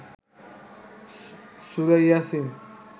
সুরা ইয়াসিন